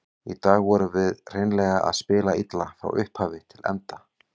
Í dag vorum við hreinlega að spila illa, frá upphafi til enda.